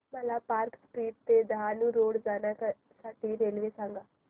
मला park street ते Dahanu road जाण्या साठी रेल्वे सांगा